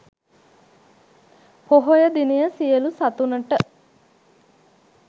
පොහොය දිනය සියලු සතුනට